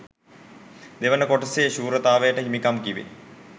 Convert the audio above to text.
දෙවන කොටසේ ශූරතාවයට හිමිකම් කීවේ